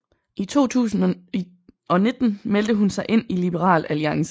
I 2019 meldte hun sig ind i Liberal Alliance